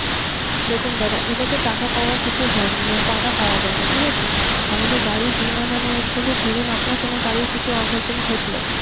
দেখুন দাদা এটাতে টাকা পাওয়া কিছু হয়ন টাকা পাওয়া যায় না ঠিক আছে? আমাদের গাড়ির বীমা মানে হচ্ছে যে ধরুন আপনার কোনো গাড়ির কিছু অঘটন ঘটলো